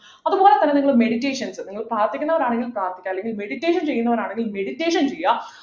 അതുപോലെ തന്നെ നിങ്ങൾ meditations നിങ്ങൾ പ്രാർത്ഥിക്കുന്നവർ ആണെങ്കിലു പ്രാർത്ഥിക്കുക അല്ലെങ്കിൽ meditation ചെയ്യുന്നവരാണെങ്കിൽ meditation ചെയ്യാ